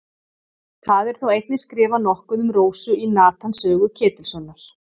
það er þó einnig skrifað nokkuð um rósu í natans sögu ketilssonar